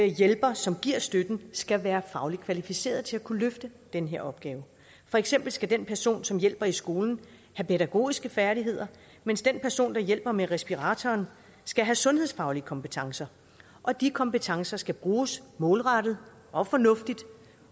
hjælper som giver støtten skal være fagligt kvalificeret til at kunne løfte den her opgave for eksempel skal den person som hjælper i skolen have pædagogiske færdigheder mens den person der hjælper med respiratoren skal have sundhedsfaglige kompetencer og de kompetencer skal bruges målrettet og fornuftigt